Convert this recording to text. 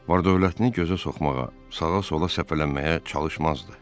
Var-dövlətini gözə soxmağa, sağa-sola səpələməyə çalışmazdı.